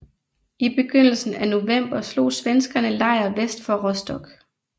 I begyndelsen af november slog svenskerne lejr vest for Rostock